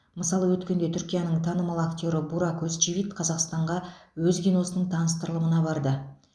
мысалы өткенде түркияның танымал актері бурак өзчивит қазақстанға өз киносының таныстырылымына барды